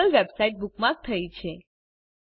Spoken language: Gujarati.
ગૂગલ વેબસાઇટ બુકમાર્ક થઇ છે